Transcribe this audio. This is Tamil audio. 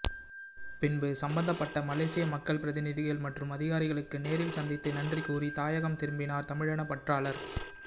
பின்பு சம்மந்தபட்ட மலேசிய மக்கள் பிரதிநிதிகள் மற்றும் அதிகாரிகளுக்கு நேரில் சந்தித்து நன்றி கூறி தாயகம் திரும்பினார் தமிழின பற்றாளர்